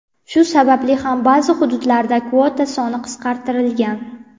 Shu sababli ham ba’zi hududlarda kvota soni qisqartirilgan.